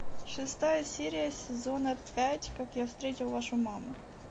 шестая серия сезона пять как я встретил вашу маму